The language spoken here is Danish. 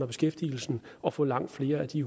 beskæftigelsen og få langt flere af de